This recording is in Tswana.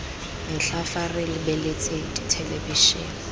metlha fa re lebeletse thelebišene